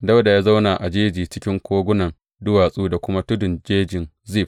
Dawuda ya zauna a jeji cikin kogunan duwatsu da kuma tuddan jejin Zif.